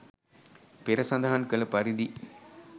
පෙර සඳහන් කළ පරිදි